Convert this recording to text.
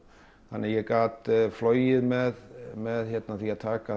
þannig ég gat flogið með með því að taka